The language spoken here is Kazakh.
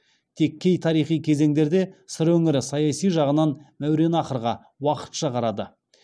тек кей тарихи кезеңдерде сыр өңірі саяси жағынан мәуереннахрға уақытша қарады